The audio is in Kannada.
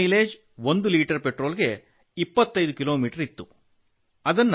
ಅದರ ಮೈಲೇಜ್ ಒಂದು ಲೀಟರ್ ಪೆಟ್ರೋಲ್ ಗೆ 25 ಕಿಲೋಮೀಟರ್ ಇತ್ತು